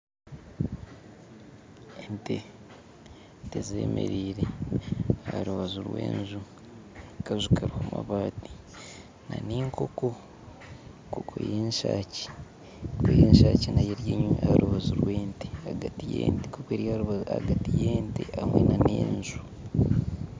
Ente, ente zemereire aharubaju rw'enju akaju kariho amabaati n'enkoko enkoko yenshaki enkoko y'enshaki nayo eri harubaju rw'ente ahagati y'ente hamwe na n'enju